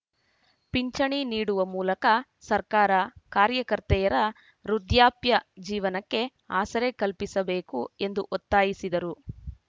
ಪಿಂಚಣಿ ನೀಡುವ ಮೂಲಕ ಸರ್ಕಾರ ಕಾರ್ಯಕರ್ತೆಯರ ವೃದ್ಧಾಪ್ಯ ಜೀವನಕ್ಕೆ ಆಸರೆ ಕಲ್ಪಿಸಬೇಕು ಎಂದು ಒತ್ತಾಯಿಸಿದರು